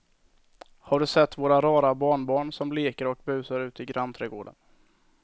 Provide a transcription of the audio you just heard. Har du sett våra rara barnbarn som leker och busar ute i grannträdgården!